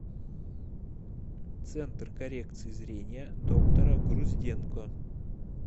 центр коррекции зрения доктора грузденко